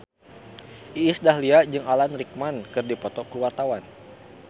Iis Dahlia jeung Alan Rickman keur dipoto ku wartawan